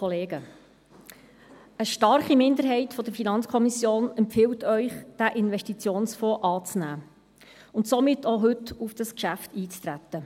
Eine starke Minderheit der FiKo empfiehlt Ihnen, diesen Investitionsfonds anzunehmen und somit heute auf dieses Geschäft einzutreten.